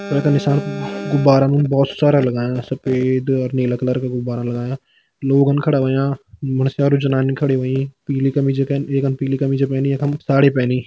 नीसाण गुब्बारान बहोत सारा लगायां सफ़ेद अर नीला कलर का गुब्बारा लगायां लोगन खड़ा होयां मुंडस्यारू जाननी खड़ी होईं पिली कमीज कैन एकन पिली कमीज पैनी यखम साड़ी पैनी।